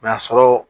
N'a sɔrɔ